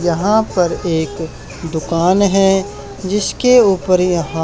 यहां पर एक दुकान है जिसके ऊपर यहां--